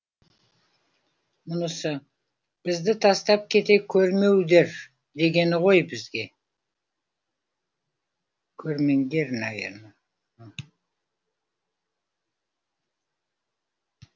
мұнысы бізді тастап кете көрмеу дер дегені ғой бізге көрмеңдер наверно